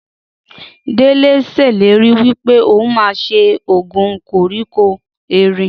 Délé ṣèlérí wípé ohun ma ṣe oògùn koríko erin